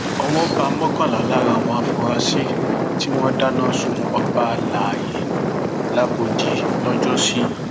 owó bá mọkànlá lára àwọn afurasí tí wọn dáná sun ọba alayé làgbòdì lọjọsí